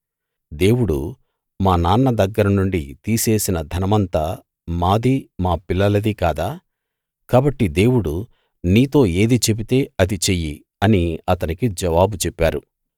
దేవుడు మా నాన్న దగ్గరనుండి తీసేసిన ధనమంతా మాదీ మా పిల్లలదీ కాదా కాబట్టి దేవుడు నీతో ఏది చెబితే అది చెయ్యి అని అతనికి జవాబు చెప్పారు